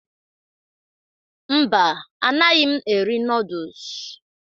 Mba, anaghị eri nọọdụs.